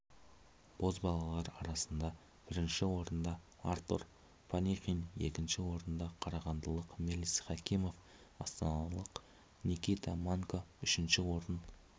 бозбалалар арасында бірінші орында артур панихин екінші орында қарағандылық мелис хакимов астаналық никита манько үшінші орын